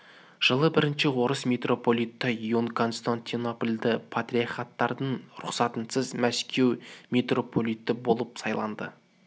жылы бірінші орыс митрополиті ион константинопльдің патриархатының рұқсатынсыз мәскеу митрополиті болып сайланды